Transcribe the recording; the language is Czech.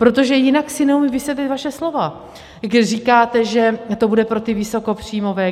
Protože jinak si neumím vysvětlit vaše slova, když říkáte, že to bude pro ty vysokopříjmové.